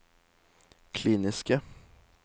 kliniske